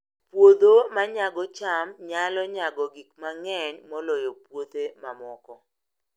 Puodho ma nyago cham nyalo nyago gik mang'eny moloyo puothe mamoko